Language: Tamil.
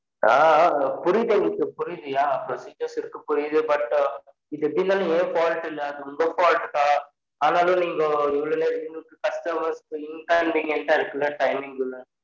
அ அ புரிது எனகு புரிது procedure இருகு புரிது but இது எப்ப்டி இருந்தலும் என் fault இல்ல. உங்க fault தான் ஆனலும் நீங்க இவ்லொ க customer கு inconvenient டா இருகுல timing க்லாம்